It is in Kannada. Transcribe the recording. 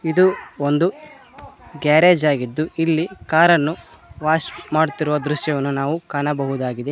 ಇದು ಒಂದು ಗ್ಯಾರೇಜ್ ಆಗಿದ್ದು ಇಲ್ಲಿ ಕಾರನ್ನು ವಾಶ್ ಮಾಡುತ್ತಿರುವ ದೃಶ್ಯವನ್ನು ನಾವು ಕಾಣಬಹುದಾಗಿದೆ.